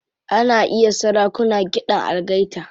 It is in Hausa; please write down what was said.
Ana iya sarakuna kiɗan algaita.